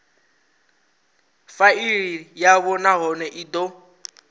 faili yavho nahone i do